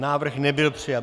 Návrh nebyl přijat.